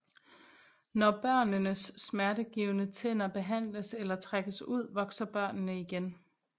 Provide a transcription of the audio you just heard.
Når børnenes smertegivende tænder behandles eller trækkes ud vokser børnene igen